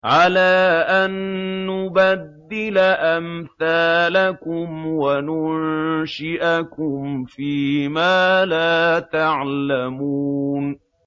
عَلَىٰ أَن نُّبَدِّلَ أَمْثَالَكُمْ وَنُنشِئَكُمْ فِي مَا لَا تَعْلَمُونَ